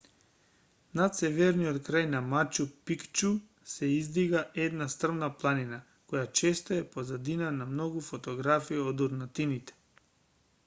над северниот крај на мачу пикчу се издига една стрмна планина која често е позадина на многу фотографии од урнатините